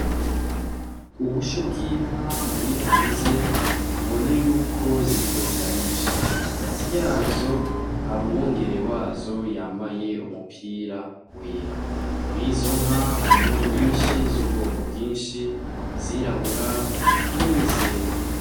Ubusho bw'inka buri hanze ubona yuko ziriko zirarisha, hagati yazo har'umwungere wazo yambaye umupira wera, murizo nka harimwo nyinshi z'ubwoko bwinshi izirabura hamwe n'izera.